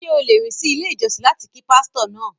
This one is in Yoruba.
Ṣé o lè rìn sí ilé ìjọsìn láti kí pástọ́ náà?